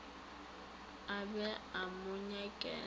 a be a mo nyakela